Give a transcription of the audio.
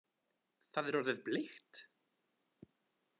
Það er orðið bleikt!